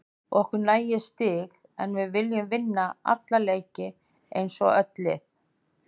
Okkur nægir stig en við viljum vinna alla leiki eins og öll lið.